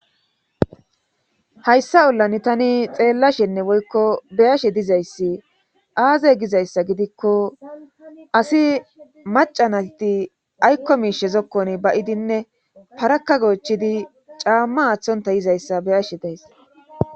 Hayssa ollan tani xeellashenne woykko beyashe dizayssi aaze gizayssa gidikko asi maca nati aykko miishe zokkon bayidinne paraka goochidi caamma aththonta yizayssa beyashe days.